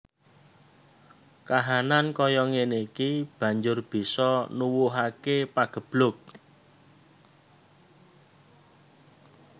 Kahanan kaya ngéné iki banjur bisa nuwuhaké pageblug